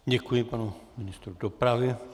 Děkuji panu ministru dopravy.